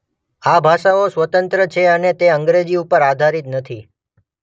આ ભાષાઓ સ્વતંત્ર છે અને તે અંગ્રેજી ઉપર આધારિત નથી.